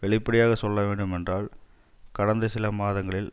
வெளிப்படையாக சொல்ல வேண்டுமென்றால் கடந்த சில மாதங்களில்